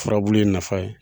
Furabuli in nafa ye